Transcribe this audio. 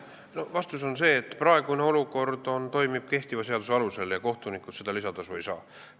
Vastus on see, et praegune olukord toimib kehtiva seaduse alusel ja kohtunikud seda lisatasu ei saa.